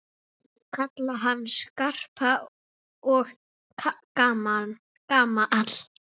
Kalla hann Skarpa og gamla!